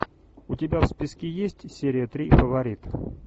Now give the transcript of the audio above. у тебя в списке есть серия три фаворит